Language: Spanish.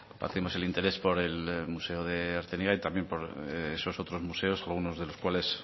compartimos el interés por el museo de artziniega y también por otros museos algunos de los cuales